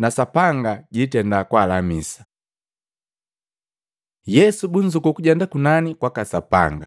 na Sapanga jitenda kwaalamisa.” Yesu bunzukuu kujenda kunani kwaka Sapanga Luka 24:50-53; Mahengu 1:9-11